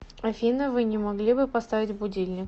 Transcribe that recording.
афина вы не могли бы поставить будильник